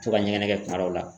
To ka ɲɛgɛnɛ kɛ kuma dɔw la.